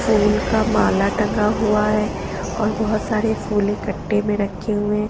फूल का माला टंगा हुआ है और बहुत सारे फूल इकट्ठे में रखे हुए--